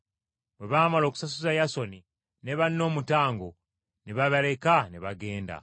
Bwe baamala okusasuza Yasooni ne banne omutango, ne babaleka ne bagenda.